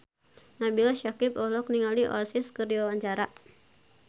Nabila Syakieb olohok ningali Oasis keur diwawancara